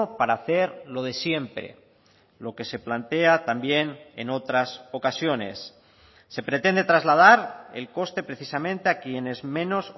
para hacer lo de siempre lo que se plantea también en otras ocasiones se pretende trasladar el coste precisamente a quienes menos